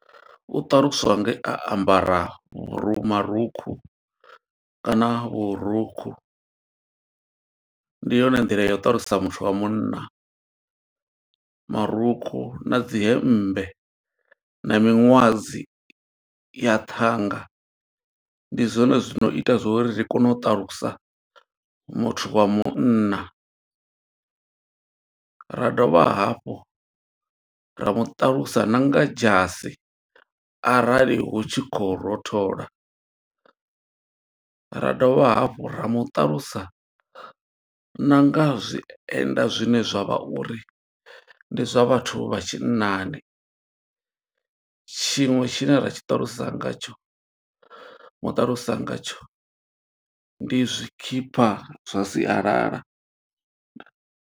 U ṱaluswa nge a ambara vhuru marukhu kana vhurukhu. Ndi yone nḓila ya u ṱalusa muthu wa munna, marukhu na dzi hemmbe, na miṅwadzi ya thanga. Ndi zwone zwino ita zwo uri ri kone u ṱalusa muthu wa munna. Ra dovha hafhu ra mu ṱalusa na nga dzhasi, arali hu tshi khou rothola. Ra dovha hafhu ra muṱalusa na nga zwienda zwine zwa vha uri, ndi zwa vhathu vha tshinnani. Tshiṅwe tshine ra tshi ṱalusa nga tsho, muṱalusa nga tsho, ndi zwikipa zwa sialala. Ndaa.